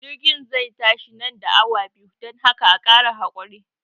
jirgin zai tashi nan da awa biyu, dan haka a Kara hakuri.